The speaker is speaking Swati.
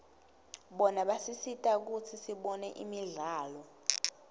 bona basisita kutsi sibone imidlalo